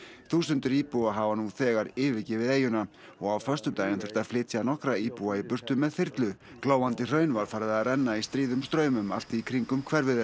þúsundir íbúa hafa nú þegar yfirgefið eyjuna og á föstudaginn þurfti að flytja nokkra íbúa í burtu með þyrlu glóandi hraun var farið að renna í stríðum straumum allt í kringum hverfið þeirra